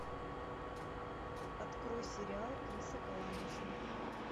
открой сериал криса коламбуса